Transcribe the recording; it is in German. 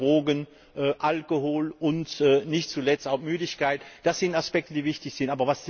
2. Drogen, Alkohol und nicht zuletzt auch Müdigkeit das sind Aspekte, die wichtig sind.